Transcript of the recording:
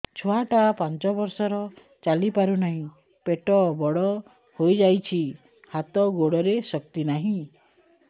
ଛୁଆଟା ପାଞ୍ଚ ବର୍ଷର ଚାଲି ପାରୁ ନାହି ପେଟ ବଡ଼ ହୋଇ ଯାଇଛି ହାତ ଗୋଡ଼ରେ ଶକ୍ତି ନାହିଁ